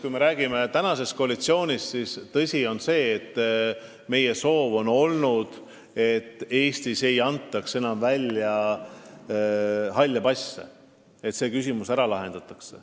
Kui rääkida praegusest koalitsioonist, siis ausalt öeldes on tõsi see, et meie soov on olnud, et Eestis ei antaks enam välja halle passe, et see küsimus lahendataks.